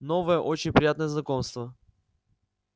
новое очень приятное знакомство